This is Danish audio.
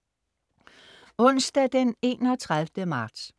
Onsdag den 31. marts